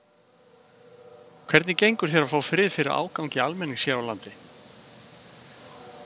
Hvernig gengur þér að fá frið fyrir ágangi almennings hér á landi?